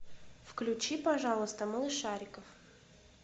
включи пожалуйста малышариков